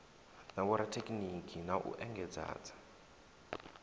na vhorathekhiniki na u engedzadza